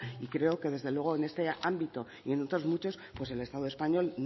y creo que desde luego en este ámbito y en otros muchos pues el estado español